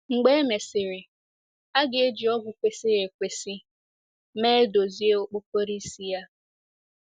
Mgbe e mesịrị, a ga - eji ọgwụ kwesịrị ekwesị mee dozie okpokoro isi ya.